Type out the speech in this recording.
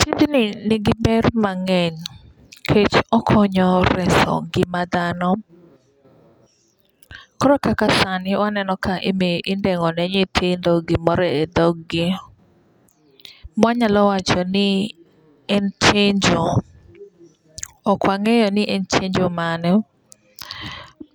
Tijni nigi ber mang'eny nikech okonyo reso ngima dhano. Koro kaka sani waneno ka indeng'o ne nyithindo gimoro e dhog gi ma wanyalo wacho ni en chenjo. Ok wang'eyo ni en chenjo mane.